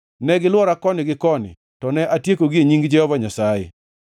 Ne gilwora koni gi koni, to ne atiekogi e nying Jehova Nyasaye.